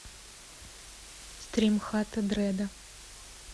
стрим хата дреда